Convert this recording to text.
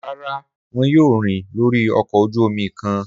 Rara, wọn yoo rin lori ọkọ oju omi kan.